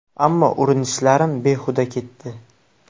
Ammo urinishlarim behuda ketdi.